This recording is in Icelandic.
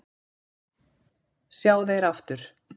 sjá þeir aftur